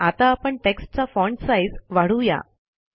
आता आपण टेक्स्टचा फाँट साईज वाढवू या